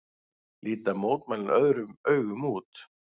Líta mótmælin öðrum augum nú